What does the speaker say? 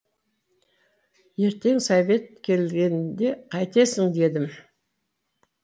ертең совет келгенде қайтесің дедім